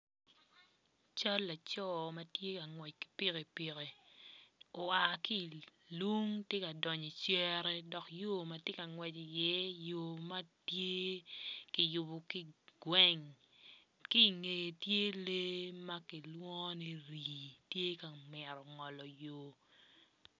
Cal laco ma tye ka ngwec ki pikipiki oa ki ilung tye ka donyo icere dok yo ma ti ka ngwec iye tye yo ma ki yubo ki gweng ki inge tye lee ma kilwongo ni rii